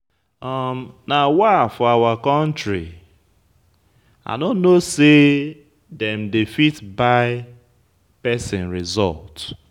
Nawa for our country! I no know say dem they fit buy person result.